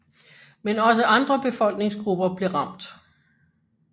Men også andre befolkningsgrupper blev ramt